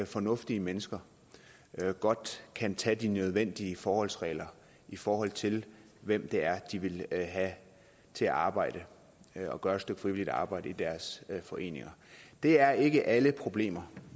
fornuftige mennesker godt kan tage de nødvendige forholdsregler i forhold til hvem det er de vil have til at arbejde og gøre et stykke frivilligt arbejde i deres foreninger det er ikke alle problemer